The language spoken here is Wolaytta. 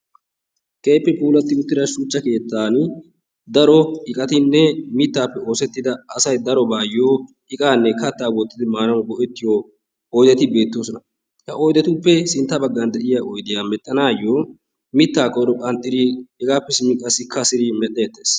keehippe puulati uttida shuchcha keettan daro iqqatinne mittappe oosettida asay darobayyo iqqanne katta wottidi maanawu go''ettiyo oyddeti beettoosona. He oyddetuppe sintta baggan de'iyaa oyddiya medhdhanayyo mitta koyro qanxxidi hegappe simmidi qassi kassidi medhdhettees.